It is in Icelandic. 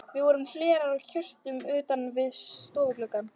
Víða voru hlerar á hjörum utan yfir stofugluggum.